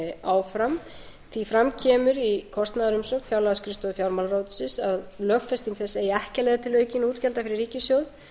áfram því fram kemur í kostnaðarumsögn fjárlagaskrifstofu fjármálaráðuneytisins að lögfesting þess eigi ekki að leiða til aukinna útgjalda fyrir ríkissjóð